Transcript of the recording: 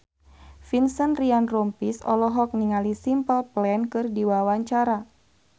Vincent Ryan Rompies olohok ningali Simple Plan keur diwawancara